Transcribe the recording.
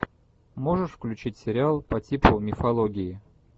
можешь включить сериал по типу мифологии